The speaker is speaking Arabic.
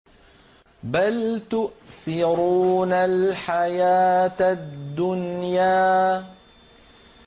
بَلْ تُؤْثِرُونَ الْحَيَاةَ الدُّنْيَا